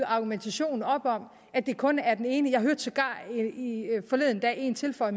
argumentationen op om at det kun er den ene jeg hørte sågar forleden dag en tilføje